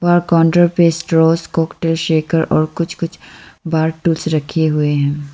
वहा काउंटर पे straw cocktail shaker और कुछ कुछ बार टूल्स रखे हुए हैं।